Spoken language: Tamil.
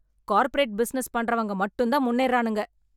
கார்ப்பரேட் பிசினஸ் பண்றவங்க மட்டும் தான் முன்னேறுறானுங்க..